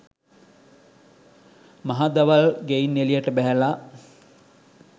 මහදවල් ගෙයින් එළියට බැහැලා